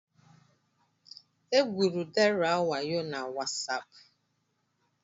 Egwuru Deraa wayo na wasaapụ.